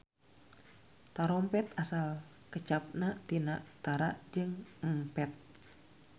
Tarompet asal kecapna tina tara jeung empet.